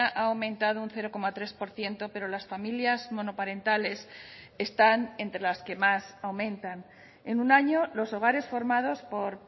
ha aumentado un cero coma tres por ciento pero las familias monoparentales están entre las que más aumentan en un año los hogares formados por